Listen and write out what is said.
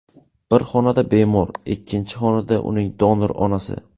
Bir xonada bemor, ikkinchi xonada uning donor onasi.